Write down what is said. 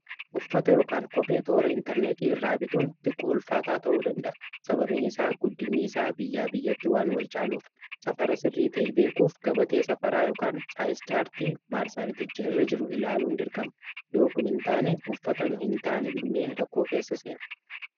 uffata yookaan kophee toora intarneetii irraa bituun xiqqo ulfaataa ta'uu danda'a sababiin isaa guddinnii isaa biyyaa biyyatti waan wal caaluuf safara sirrii ta'e beekuuf gabatee safaraa yookan chaayiscaartii maarsaariticha irra jiru ilaaluu hin dirqama yoo kun hin taane uffata nu hin taane binnee rakkoo keessa seenna